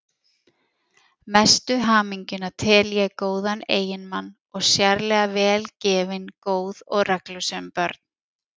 Mestu hamingjuna tel ég góðan eiginmann og sérlega vel gefin, góð og reglusöm börn.